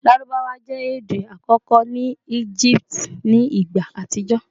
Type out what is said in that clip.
Larubawa jẹ ede akọkọ ni Egipti ni igba atijọ